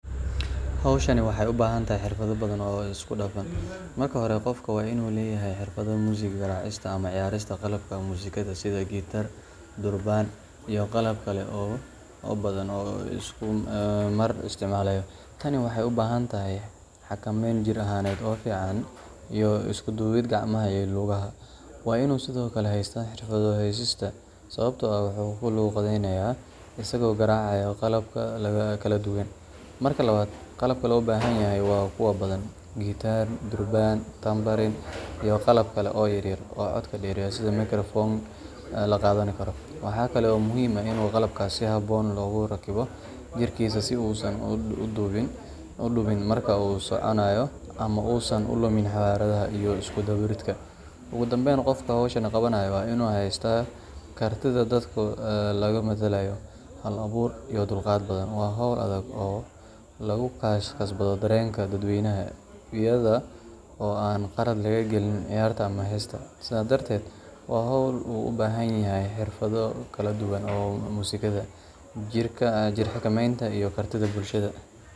Hawshan waxay u baahan tahay xirfado badan oo isku dhafan. Marka hore, qofka waa inuu leeyahay xirfadda muusig garaacista ama ciyaarista qalabka muusikada sida gitaar, durbaan, iyo qalab kale oo badan oo uu isku mar isticmaalayo. Tani waxay u baahan tahay xakameyn jir ahaaneed oo fiican iyo isku duwid gacmaha iyo lugaha. Waa inuu sidoo kale haystaa xirfadda heesista, sababtoo ah wuxuu ku luuqaynayaa isagoo garaacaya qalab kala duwan. Marka labaad, qalabka loo baahan yahay waa kuwo badan: gitaar, durbaan, tambariin, iyo qalab kale oo yaryar oo codka dheereeya sida mikrofoon la qaadan karo. Waxa kale oo muhiim ah in qalabkaas si habboon loogu rakibo jirkiisa si uusan u dhibin marka uu soconayo ama uusan u lumin xawaaraha iyo isku dubbaridka. Ugu dambayn, qofka hawshan qabanaya waa inuu haystaa kartida dadka lagu madadaaliyo, hal-abuur, iyo dulqaad badan. Waa hawl adag oo lagu kasbado dareenka dadweynaha iyada oo aan qalad laga galin ciyaarta ama heesta. Sidaa darteed, waa hawl ay u baahan tahay xirfado kala duwan oo muusikada, jir-xakameynta iyo kartida bulshada.